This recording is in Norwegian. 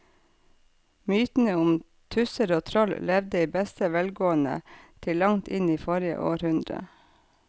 Mytene om tusser og troll levde i beste velgående til langt inn i forrige århundre.